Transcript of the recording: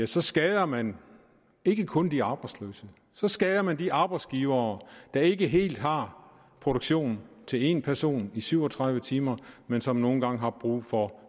så skader man ikke kun de arbejdsløse så skader man også de arbejdsgivere der ikke helt har produktion til en person i syv og tredive timer men som nogle gange har brug for